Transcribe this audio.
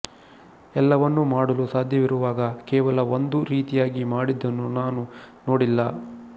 ಎಲ್ಲವನ್ನೂ ಮಾಡಲು ಸಾಧ್ಯವಿರುವಾಗ ಕೇವಲ ಒಂದು ರೀತಿಯಾಗಿ ಮಾಡಿದ್ದನ್ನು ನಾನು ನೋಡಿಲ್ಲ